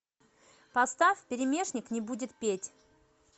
поставь пересмешник не будет петь